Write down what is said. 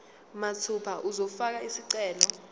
mathupha uzofaka isicelo